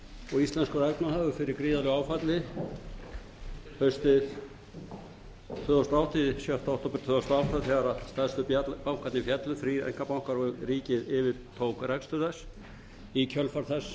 og íslenskur efnahagur fyrir gríðarlegu áfalli sjötta október tvö þúsund og átta þegar stærstu bankarnir féllu þrír einkabankar og ríkið yfirtók rekstur þess í kjölfar þess